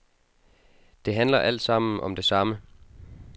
Det handler altsammen om det samme.